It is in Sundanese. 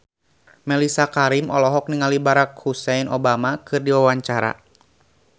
Mellisa Karim olohok ningali Barack Hussein Obama keur diwawancara